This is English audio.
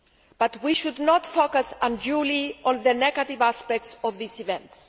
But we should not focus unduly on the negative aspects of these events.